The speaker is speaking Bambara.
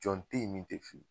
Jɔn te yen min te fili